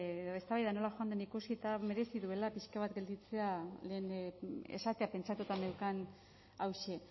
edo eztabaida nola joan den ikusita merezi duela pixka bat gelditzea lehen esatea pentsatuta neukan hauxe